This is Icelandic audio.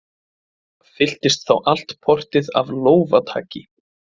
Fyllist þá allt portið af lófataki.